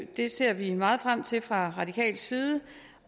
det ser vi meget frem til fra radikal side